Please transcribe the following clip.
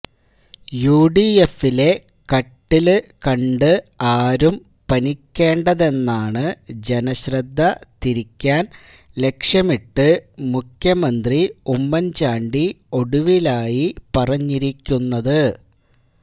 യുഡിഎഫിലെ കട്ടില് കണ്ട് ആരും പനിക്കേണ്ടെന്നാണ് ജനശ്രദ്ധ തിരിക്കാന് ലക്ഷ്യമിട്ട് മുഖ്യമന്ത്രി ഉമ്മന്ചാണ്ടി ഒടുവിലായി പറഞ്ഞിരിക്കുന്നത്